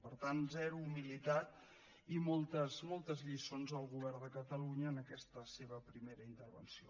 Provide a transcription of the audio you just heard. per tant zero humilitat i moltes moltes lliçons al govern de catalunya en aquesta seva primera intervenció